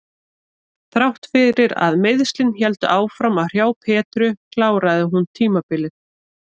Þrátt fyrir að meiðslin héldu áfram að hrjá Petru kláraði hún tímabilið.